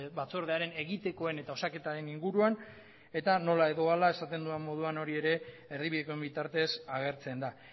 batzordearen egitekoen eta osaketaren inguruan eta nola edo hala esaten dudan moduan hori ere erdibidekoen bitartez agertzen da